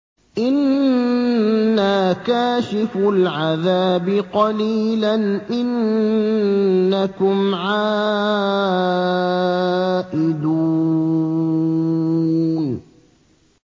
إِنَّا كَاشِفُو الْعَذَابِ قَلِيلًا ۚ إِنَّكُمْ عَائِدُونَ